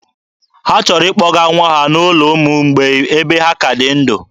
Ha chọrọ ịkpọga nwa ha n'ụlọ ụmụ mgbei ebe ha ka dị ndụ.